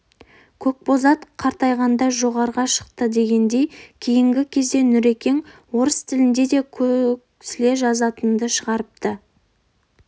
көкбозат қартайғанда жорға шықты дегендей кейінгі кезде нүрекең орыс тілінде де көсілте жазатынды шығарды